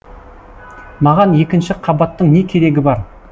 маған екінші қабаттың не керегі бар